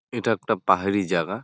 এইটা একটা পাহাড়ি জায়গা ।